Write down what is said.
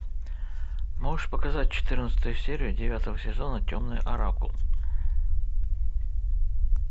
можешь показать четырнадцатую серию девятого сезона темный оракул